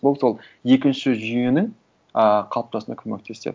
бұл сол екінші жүйенің ыыы қалыптасуына көмектеседі